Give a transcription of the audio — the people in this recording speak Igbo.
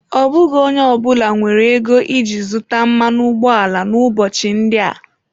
Ọ bụghị onye ọ bụla nwere ego iji zụta mmanụ ụgbọala n'ụbọchị ndị a.